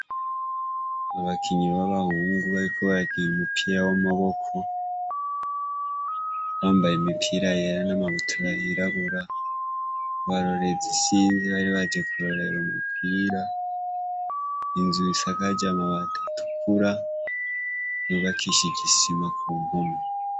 Abakinyi ba bahungu bariko barakina umupira w'amaboko bambaye imipira yera n'amabutura y'irabura, abarorerezi sinzi ntibari baje kurorera umupira, inzu isakaje amabati atukura yubakishije isima kumpome.